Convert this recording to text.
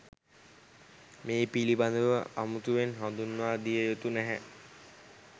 මේ පිළිබඳව අමුතුවෙන් හඳුන්වා දියයුතු නැහැ